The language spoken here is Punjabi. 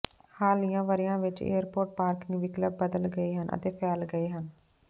ਹਾਲੀਆ ਵਰ੍ਹਿਆਂ ਵਿੱਚ ਏਅਰਪੋਰਟ ਪਾਰਕਿੰਗ ਵਿਕਲਪ ਬਦਲ ਗਏ ਹਨ ਅਤੇ ਫੈਲ ਗਏ ਹਨ